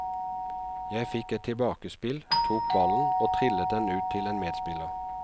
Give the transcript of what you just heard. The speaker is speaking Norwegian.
Jeg fikk et tilbakespill, tok ballen og trillet den ut til en medspiller.